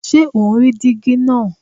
Ṣé o ń rí díígí náà?